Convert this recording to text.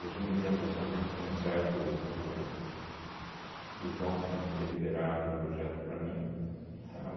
eu entendo as razões comerciais do do do João para não ter liberado o projeto para mim, tá?